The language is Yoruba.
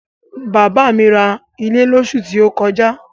Bàbá mi ra ilẹ̀ lósù tí ó kọjá